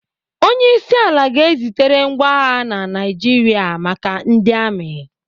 Onyeisiala ga-ezitere ngwa agha na Naijiria maka ndị amị.